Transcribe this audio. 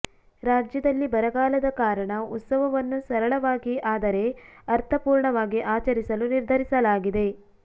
ರಾಜ್ಯದಲ್ಲಿ ಬರಗಾಲದ ಕಾರಣ ಉತ್ಸವವನ್ನು ಸರಳವಾಗಿ ಆದರೆ ಅರ್ಥಪೂರ್ಣವಾಗಿ ಆಚರಿಸಲು ನಿರ್ಧರಿಸಲಾಗಿದೆ